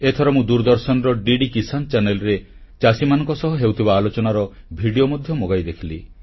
ଏଥର ମୁଁ ଦୂରଦର୍ଶନର ଡିଡି କିସାନ Channelରେ ଚାଷୀମାନଙ୍କ ସହ ହେଉଥିବା ଆଲୋଚନାର ଭିଡ଼ିଓ ମଧ୍ୟ ମଗାଇ ଦେଖିଲି